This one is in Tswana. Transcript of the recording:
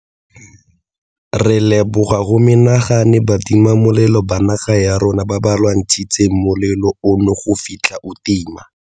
Re leboga go menagane batimamolelo ba naga ya rona ba ba lwantshitseng molelo ono go fitlha o tima.